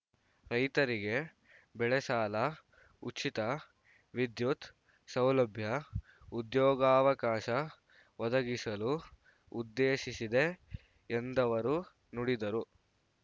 ರೈತರಿಗೆ ಬೆಳೆಸಾಲ ಉಚಿತ ವಿದ್ಯುತ್‌ ಸೌಲಭ್ಯ ಉದ್ಯೋಗಾವಕಾಶ ಒದಗಿಸಲು ಉದ್ದೇಶಿಸಿದೆ ಎಂದವರು ನುಡಿದರು